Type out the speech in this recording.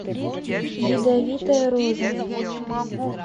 ядовитая роза